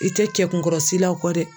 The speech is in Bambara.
I tɛ kɛ kunkɔrɔsilaw o kɔ dɛ